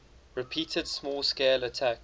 repeated small scale attacks